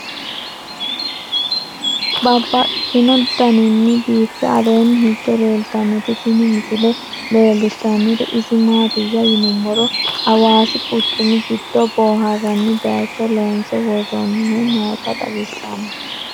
Babaxxittinno daninni biiffe aleenni hige leelittannotti tinni misile lelishshanori isi maattiya yinummoro hawaasi quchummi giddo booharanni bayiichcho loonse woroonnihu nootta xawissanno